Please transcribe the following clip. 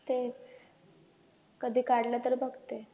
तेच कधी काढलं तर बघते